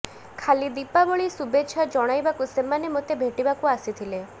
ଖାଲି ଦୀପାବଳି ଶୁଭେଚ୍ଛା ଜଣାଇବାକୁ ସେମାନେ ମୋତେ ଭେଟିବାକୁ ଆସିଥିଲେ